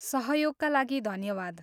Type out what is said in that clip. सहयोगका लागि धन्यवाद।